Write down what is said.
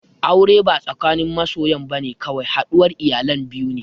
Aure ba tsakanin masoyan bane kawai, haɗuwar iyalan biyu ne